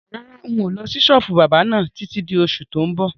Rárá, ń ó lọ sí sọ́ọ́bù báábà náà títí di oṣù tó ń bọ̀